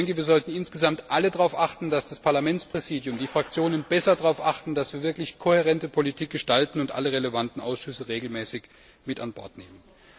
Ich denke, wir sollten insgesamt alle darauf achten, dass das Parlamentspräsidium und die Fraktionen besser darauf achten, dass wir wirklich kohärente Politik gestalten und alle relevanten Ausschüsse regelmäßig mit an Bord nehmen.